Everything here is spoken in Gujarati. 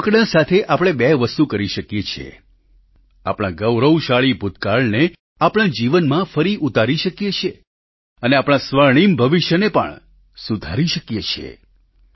રમકડાં સાથે આપણે બે વસ્તુ કરી શકીએ છીએ આપણા ગૌરવશાળી ભૂતકાળને આપણા જીવનમાં ફરી ઉતારી શકીએ છીએ અને આપણા સ્વર્ણિમ ભવિષ્યને પણ સુધારી શકીએ છીએ